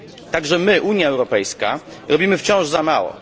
Także my, Unia Europejska, robimy wciąż za mało.